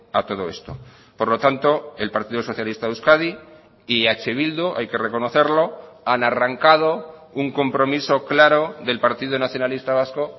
a todo esto por lo tanto el partido socialista de euskadi y eh bildu hay que reconocerlo han arrancado un compromiso claro del partido nacionalista vasco